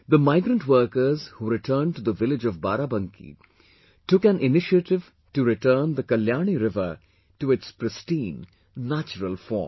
the migrant workers who returned to the village of Barabanki took an initiative to return the Kalyani River to its pristine, natural form